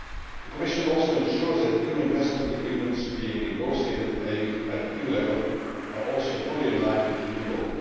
The Commission also ensures that EU investment agreements being negotiated at EU level are also fully in line with EU law.